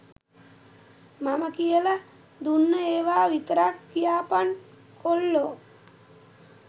මම කියල දුන්නු ඒවා විතරක් කියපන් කොල්ලො